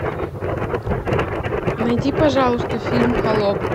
найди пожалуйста фильм холоп